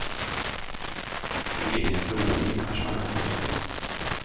Till egen förvåning, kanske man kan tillägga.